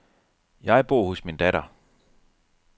Jeg bor hos min datter.